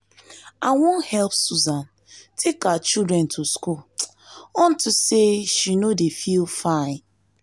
i wan help susan take her children to school unto say she no dey feel fine